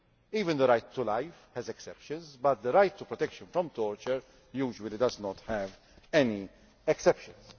Even the right to life has exceptions, but the right to protection from torture usually does not have any exceptions.